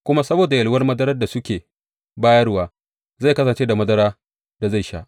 Kuma saboda yalwa madarar da suke bayarwa, zai kasance da madarar da zai sha.